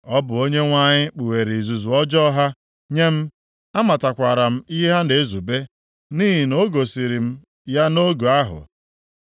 Ọ bụ Onyenwe anyị kpughere izuzu ọjọọ ha nye m; amatakwara m ihe ha na-ezube, nʼihi na o gosiri m ya nʼoge ahụ.